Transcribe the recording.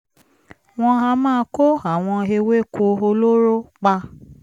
wọ́n a máa kó àwọn ewéko olóró pa